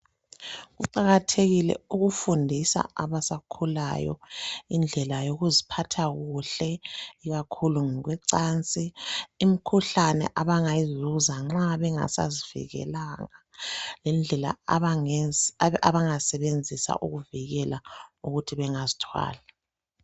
Kuqakathekile ukufundisa abasakhulayo indlela yokuziphatha kuhle ikakhulu ngokwe cansi. Imkhuhlane abangayizuza nxa bengasazivikelanga lendlela abangazisebenzisa ukuzivikela ukuthi bengazithwali.